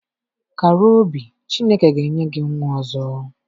Kàrà obi Chineke ga enye gị nwa ọzọ